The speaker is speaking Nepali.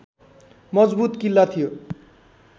मजबुत किल्ला थियो